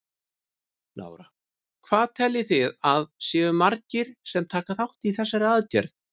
Lára: Hvað teljið þið að það séu margir sem taka þátt í þessari aðgerð?